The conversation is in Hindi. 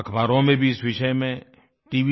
अख़बारों में भी इस विषय में tव